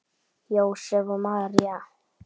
Jósep og María